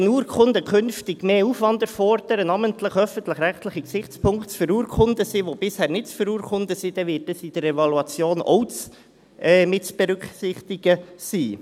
Wenn Urkunden künftig mehr Aufwand erfordern, wenn namentlich öffentlich-rechtliche Gesichtspunkte zu verurkunden sind, die bisher nicht zu verurkunden waren, dann wird dies in der Evaluation auch mitzuberücksichtigen sein.